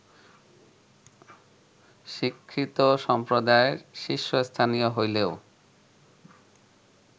শিক্ষিত সম্প্রদায়ের শীর্ষস্থানীয় হইলেও